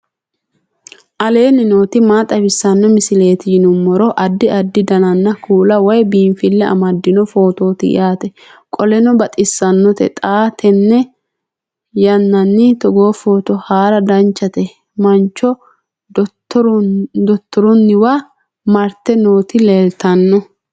aleenni nooti maa xawisanno misileeti yinummoro addi addi dananna kuula woy biinfille amaddino footooti yaate qoltenno baxissannote xa tenne yannanni togoo footo haara danchate mancho dottorunniwa marte nooti leeltanno